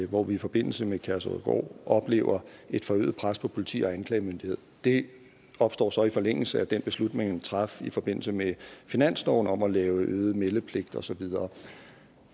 hvor vi i forbindelse med kærshovedgård oplever et forøget pres på politi og anklagemyndighed det opstår så i forlængelse af den beslutning man traf i forbindelse med finansloven om at lave øget meldepligt og så videre